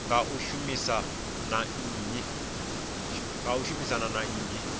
nga u shumisana na nnyi